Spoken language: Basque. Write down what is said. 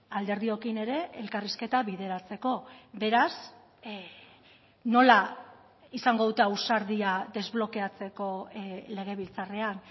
alderdiokin ere elkarrizketa bideratzeko beraz nola izango dute ausardia desblokeatzeko legebiltzarrean